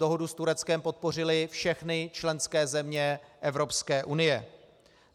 Dohodu s Tureckem podpořily všechny členské země Evropské unie.